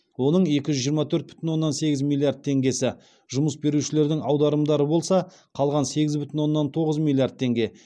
оның екі жүз жиырма төрт бүтін оннан сегіз миллиард теңгесі жұмыс берушілердің аударымдары болса қалған сегіз бүтін оннан тоғыз миллиард теңге